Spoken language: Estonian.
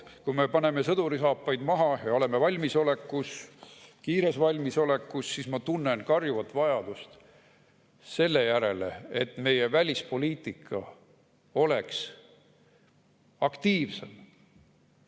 Kui me paneme sõdurisaapaid maha ja oleme valmisolekus, kiires valmisolekus, siis ma tunnen karjuvat vajadust selle järele, et meie välispoliitika oleks aktiivsem.